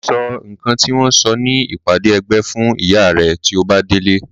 Sọ nǹkan tí wọ́n sọ ní ìpàdé ẹgbẹ́ fún ìyá rẹ tí o bá délé.